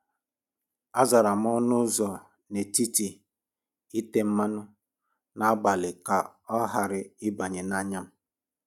Azara m ọnụ ụzọ n’etiti ite mmanụ, na-agbalị ka ọ ghara ịbanye n’anya m."